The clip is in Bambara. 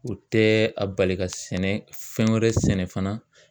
O tɛ a bali ka sɛnɛ fɛn wɛrɛ sɛnɛ fana